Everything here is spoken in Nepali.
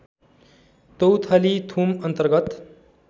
तौथली थुम अन्तर्गत